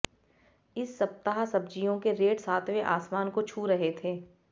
इस सप्ताह सब्जियों के रेट सातवें आसमान को छू रहे थे